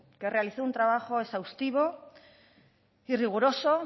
que realizó un trabajo exhaustivo y riguroso